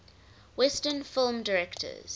western film directors